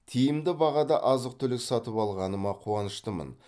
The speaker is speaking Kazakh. тиімді бағада азық түлік сатып алғаныма қуаныштымын